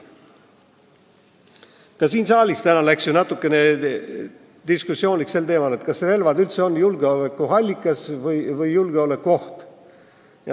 Ka siin saalis täna läks ju diskussiooniks sel teemal, kas relvad üldse on julgeolekuallikas või julgeolekuoht.